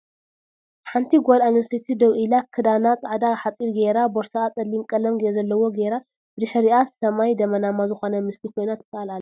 ሓንቲ ጋል ኣንስተይቲ ደዉ ኢላ ክዳና ፃዕዳ ሓፂር ጌራ ቦርስኣ ፀሊም ቀለም ዘለዎ ጌራ ብድሕሪኣ ስማይ ደመናማ ዝኮን ምስሊ ኮይና ትሰኣል ኣላ ።